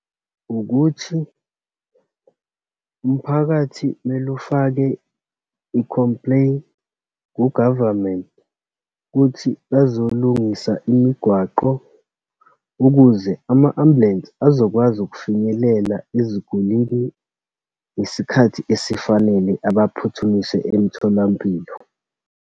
Ukuthi umphakathi kumele ufake i-complain ku-government, kuthi bazolungisa imigwaqo ukuze ama-ambulensi azokwazi ukufinyelela ezigulini ngesikhathi esifanele, abaphuthumise emtholampilo.